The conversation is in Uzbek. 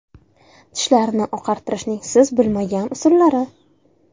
Tishlarni oqartirishning siz bilmagan usullari.